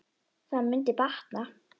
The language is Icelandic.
Það mundi batna.